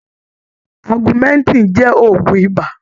Augmentin jẹ́ ògun ibà.